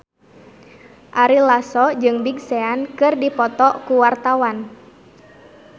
Ari Lasso jeung Big Sean keur dipoto ku wartawan